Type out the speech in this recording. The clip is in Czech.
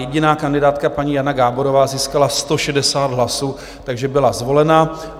Jediná kandidátka, paní Jana Gáborová, získala 160 hlasů, takže byla zvolena.